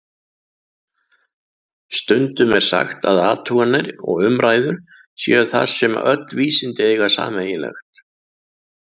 Stundum er sagt að athuganir og umræður séu það sem öll vísindi eiga sameiginlegt.